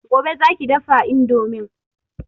Gobe za ki dafa indomin